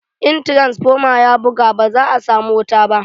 In tiransfoma ya buga, ba za a samu wuta ba.